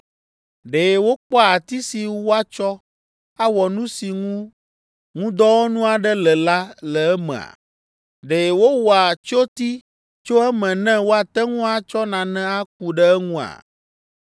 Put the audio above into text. Ɖe wokpɔa ati si woatsɔ awɔ nu si ŋu ŋudɔwɔnu aɖe le la le emea? Ɖe wowɔa tsyoti tso eme ne woate ŋu atsɔ nane aku ɖe eŋua?